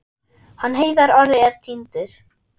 Hann Heiðar Orri er týndur.